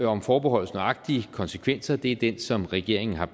om forbeholdets nøjagtige konsekvenser det er den som regeringen har